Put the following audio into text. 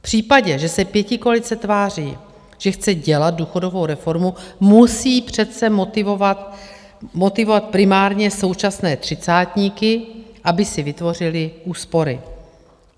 V případě, že se pětikoalice tváří, že chce dělat důchodovou reformu, musí přece motivovat primárně současné třicátníky, aby si vytvořili úspory.